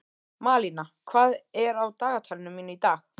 Malína, hvað er á dagatalinu mínu í dag?